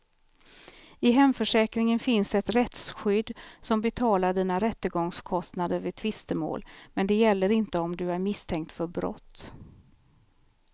I hemförsäkringen finns ett rättsskydd som betalar dina rättegångskostnader vid tvistemål, men det gäller inte om du är misstänkt för brott.